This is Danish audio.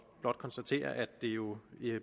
blot konstatere at det jo